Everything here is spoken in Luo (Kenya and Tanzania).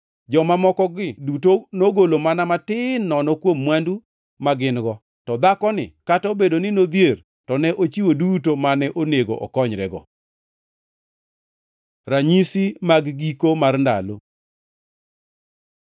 Joma mokogi duto nogolo mana matin nono kuom mwandu ma gin-go, to dhakoni kata obedo ni nodhier to ne ochiwo duto mane onego okonyrego.” Ranyisi mag giko mar ndalo